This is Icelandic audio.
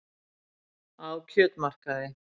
Á kjötmarkaði.